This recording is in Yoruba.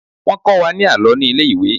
Wọ́n kọ́ Wa ní àlọ́ ní ilé ìwé.